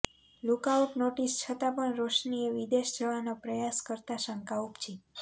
lookout notice છતા પણ રોશનીએ વિદેશ જવાનો પ્રયાસ કરતા શંકા ઉપજી